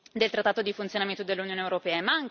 del Trattato sul funzionamento dell'Unione europea.